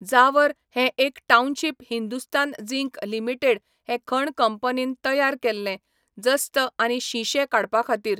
ज़ावर हें एक township Hindustan zinc limited हे खण कंपनीन तयार केल्लें, जस्त आनी शिंशें काडपाखातीर.